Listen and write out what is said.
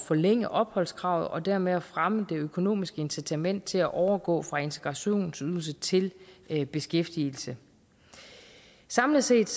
forlænge opholdskravet og dermed at fremme det økonomiske incitament til at overgå fra integrationsydelse til til beskæftigelse samlet set